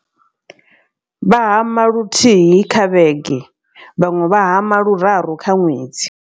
Vha hama luthihi kha vhege vhaṅwe vha hama luraru kha ṅwedzi.